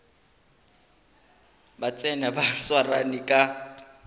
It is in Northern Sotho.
ba tsena ba swarane ka